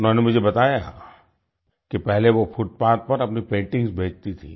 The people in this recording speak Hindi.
उन्होंने मुझे बताया कि पहले वो फुटपाथ पर अपनी पेंटिंग्स बेचती थी